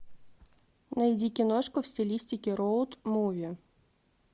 найди киношку в стилистике роуд муви